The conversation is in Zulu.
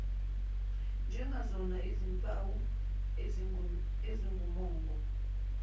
njengazona zimpawu ezingumongo